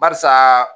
Barisa